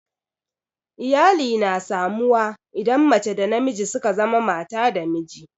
Iyali na samu wa idan mace da namiji suka zama mata da miji